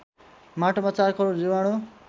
माटोमा ४ करोड जीवाणु